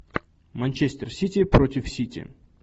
манчестер сити против сити